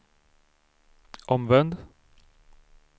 omvänd